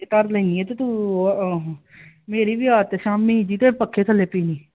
ਧਰ ਲੈਨੀ ਆ ਤੂੰ ਮੇਰੀ ਵੀ ਆਦਤ ਫਿਰ ਪੱਖੇ ਥੱਲੇ ਪੀ ਲੈਨੀ ਆ